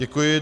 Děkuji.